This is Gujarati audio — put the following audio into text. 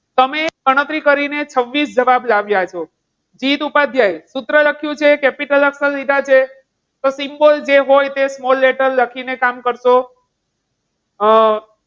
તમે ગણતરી કરીને છવ્વીસ જવાબ લાવ્યા છો. જીત ઉપાધ્યાય સૂત્ર લખ્યું છે capital અક્ષર લીધા છે. તો symbol જે હોય તે small letter લખીને કામ કરશો. હમ